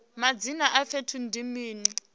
madzina a fhethu ndi mini